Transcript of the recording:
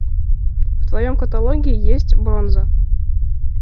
в твоем каталоге есть бронза